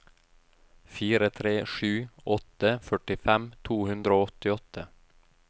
fire tre sju åtte førtifem to hundre og åttiåtte